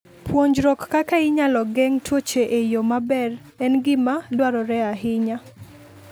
Puonjruok kaka inyalo geng' tuoche e yo maber en gima dwarore ahinya.